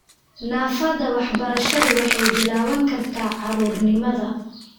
Naafada waxbarashadu waxay bilaaban kartaa caruurnimada.